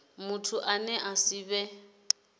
muthu ane a si vhe